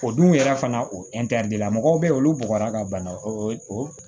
O dun yɛrɛ fana o la mɔgɔw bɛ yen olu bɔgɔ la ka bana o